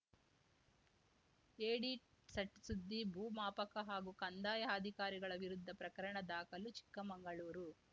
edit ಸಟ್ ಸುದ್ದಿ ಭೂಮಾಪಕ ಹಾಗೂ ಕಂದಾಯ ಅಧಿಕಾರಿಗಳ ವಿರುದ್ದ ಪ್ರಕರಣ ದಾಖಲು ಚಿಕ್ಕಮಂಗಳೂರು